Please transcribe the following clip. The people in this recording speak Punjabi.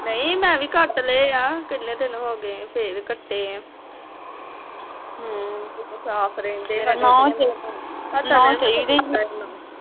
ਨਹੀਂ ਮੈ ਵੀ ਕੱਟ ਲੈ ਆ ਕਿਨ੍ਹੇ ਦਿਨ ਹੋ ਗਏ ਫਿਰ ਕੱਟੇ ਆ ਸਾਫ ਰਹਿੰਦੇ ਆ